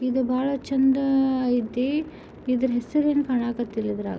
ಇದು ಬಾಳ ಚಂದ ಐತೆ ಇದರ ಹೆಸರು ಏನ್ ಕಾಣ ಕತಿಲ ಇದ್ರಾಗ.